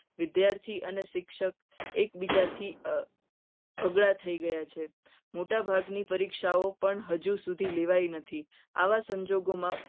વિદ્યાર્થી અને શિક્ષક એકબીજાથી અઘરા થઈ ગયા છે. મોટાભાગની પરીક્ષાઓ પણ હજી હજુ સુધી લેવાય નથી. આવા સંજોગોમાં